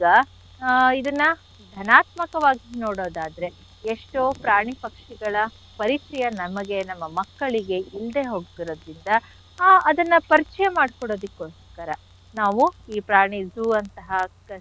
ಈಗ ಆ ಇದನ್ನ ಧನಾತ್ಮಕವಾಗಿ ನೋಡೋದಾದ್ರೆ ಎಷ್ಟೋ ಪ್ರಾಣಿ ಪಕ್ಷಿಗಳ ಪರಿಚಯ ನಮಗೆ ನಮ್ಮ ಮಕ್ಕಳಿಗೆ ಇಲ್ದೆ ಹೋಗ್ತಿರೋದ್ರಿಂದ ಆ ಅದನ್ನ ಪರಿಚಯ ಮಾಡ್ಕೊಡೋದಿಕ್ಕೋಸ್ಕರ ನಾವು ಈ ಪ್ರಾಣಿ zoo ಅಂತಹ.